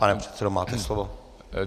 Pane předsedo, máte slovo.